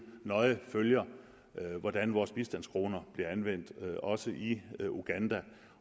nøje følger hvordan vores bistandskroner bliver anvendt også i uganda